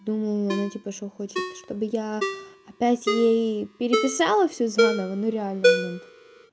думаю она типа что хочет чтобы я опять ей переписала всё заново ну реально блин